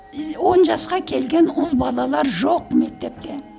и он жасқа келген ұл балалар жоқ мектепте